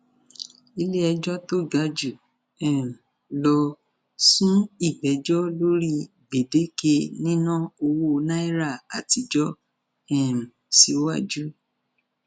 iléẹjọ tó ga jù um lọ sún ìgbẹjọ lórí gbèdéke níná owó náírà àtijọ um síwájú